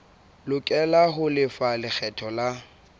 lokela ho lefa lekgetho la